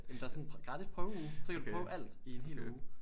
Jamen der er sådan gratis prøveuge så kan du prøve alt i en hel uge